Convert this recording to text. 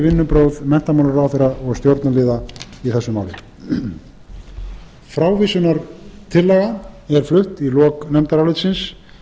vinnubrögð menntamálaráðherra og stjórnarliða í þessu máli frávísunartillaga er flutt í lok nefndarálitsins